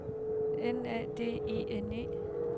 N A D I N E